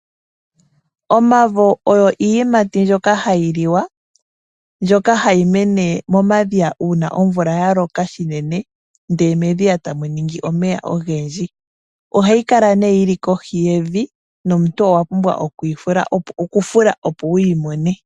Omavo ogo iiyimati mbyoka hayi liwa, mbyoka hayi mene momadhiya, uuna omvula yaloka shinene, ndee medhiya tamu ningi omeya ogendji. Ohayi kala nee yi li kohi yevi, nomuntu owa pumbwa okufula opo wuyi mone.